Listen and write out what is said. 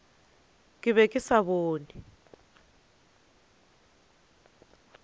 ke be ke sa bone